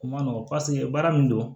O ma nɔgɔn paseke baara min don